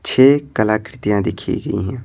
छह कलाकृतियां देखी गई हैं।